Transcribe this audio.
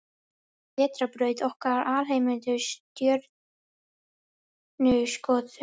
Vetrarbrautin okkar Alheimurinn Stjörnuskoðun.